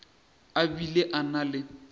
a bile a na le